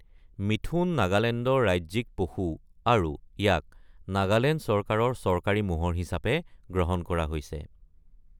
মিথুন নাগালেণ্ডৰ ৰাজ্যিক পশু আৰু ইয়াক নাগালেণ্ড চৰকাৰৰ চৰকাৰী মোহৰ হিচাপে গ্ৰহণ কৰা হৈছে।